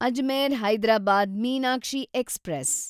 Ajmer Hyderabad Meenakshi express